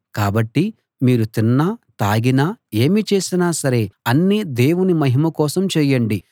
కాబట్టి మీరు తిన్నా తాగినా ఏమి చేసినా సరే అన్నీ దేవుని మహిమ కోసం చేయండి